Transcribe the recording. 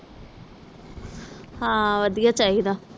ਹਾਂ ਵਧੀਆ ਚਾਹੀਦਾ